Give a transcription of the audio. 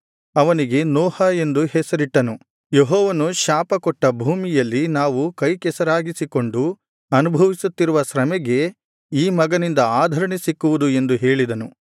ಅವನಿಗೆ ನೋಹ ಎಂದು ಹೆಸರಿಟ್ಟು ಯೆಹೋವನು ಶಾಪಕೊಟ್ಟ ಭೂಮಿಯಲ್ಲಿ ನಾವು ಕೈಕೆಸರಾಗಿಸಿಕೊಂಡು ಅನುಭವಿಸುತ್ತಿರುವ ಶ್ರಮೆಗೆ ಈ ಮಗನಿಂದ ಆದರಣೆ ಸಿಕ್ಕುವುದು ಎಂದು ಹೇಳಿದನು